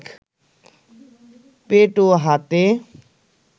পেট ও হাতে